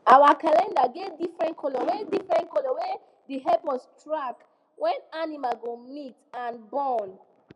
our calendar get different colour wey different colour wey de help us track when animals go mate and born